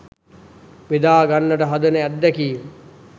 බෙදා ගන්නට හදන අත්දැකීම